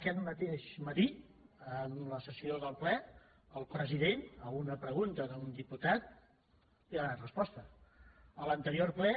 aquest mateix matí en la sessió del ple el president a una pregunta d’un diputat ja hi ha donat resposta a l’anterior ple